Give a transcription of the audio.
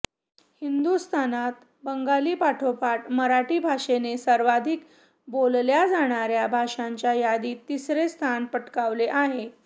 हिंदुस्थानात बंगालीपाठोपाठ मराठी भाषेने सर्वाधिक बोलल्या जाणाऱ्या भाषांच्या यादीत तिसरे स्थान पटकावले आहे